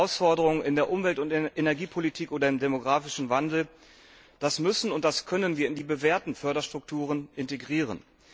Neue Herausforderungen in der Umwelt, in der Energiepolitik oder im demografischen Wandel, das müssen und können wir in die bewährten Förderstrukturen integrieren.